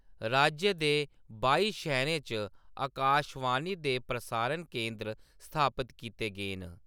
राज्य दे बाई शैह्‌‌‌रें च अकाशवाणी दे प्रसारण केन्द्र स्थापत कीते गे न।